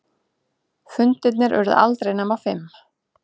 Fundirnir urðu aldrei nema fimm.